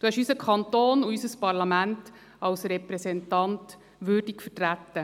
Sie haben unseren Kanton und unser Parlament als Repräsentant würdig vertreten.